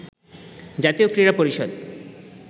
জাতীয় ক্রীড়া পরিষদ